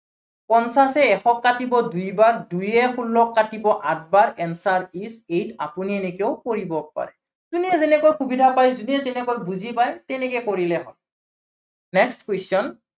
পঞ্চাশে এশক কাটিব দুইবাৰ, দুয়ে ষোল্লক কাটিব আঠবাৰ answer is eight আপুনি এনেকৈও কৰিব পাৰে। যোনে যেনেকে সুবিধা পায়, যোনে যেনেকৈ বুজি পায়, তেনেকৈ কৰিলেই হল। next question